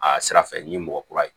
A sira fɛ n ye mɔgɔ kura ye